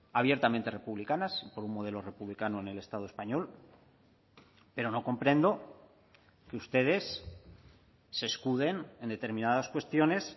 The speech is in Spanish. abiertamente republicanas por un modelo republicano en el estado español pero no comprendo que ustedes se escuden en determinadas cuestiones